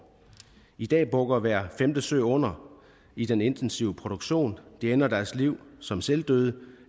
i dag bukker hver femte so under i den intensive produktion de ender deres liv som selvdøde